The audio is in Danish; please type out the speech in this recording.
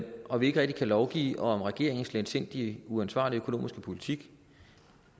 og vi ikke rigtig kan lovgive om regeringens letsindige uansvarlige økonomisk politik